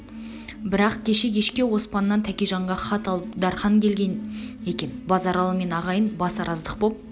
бірақ кеше кешке оспаннан тәкежанға хат алып дарқан келген екен базаралы мен ағайын бас араздық боп